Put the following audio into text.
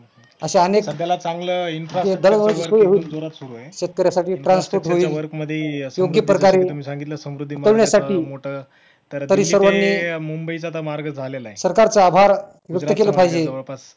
अश्या अनेक दररोज सोय होईल शेतकऱ्यासाठी transport होईल योग्य प्रकारे आकलण्यासाठी तरी सर्व मी सरकारचा आभार व्यक्त केलं पाहिजे